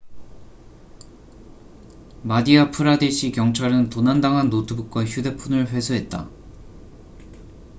마디아 프라데시 경찰은 도난당한 노트북과 휴대폰을 회수했다